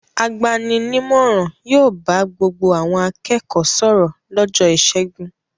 Agbani-nímọ̀ràn yóò bá gbogbo àwọn akẹ́kọ̀ọ́ sọ̀rọ̀ lọ́jọ́ ìṣẹ́gun.